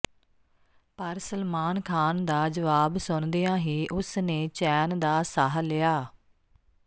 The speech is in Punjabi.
ਪਰ ਸਲਮਾਨ ਖਾਨ ਦਾ ਜਵਾਬ ਸੁਣਦਿਆਂ ਹੀ ਉਸਨੇ ਚੈਨ ਦਾ ਸਾਹ ਲਿਆ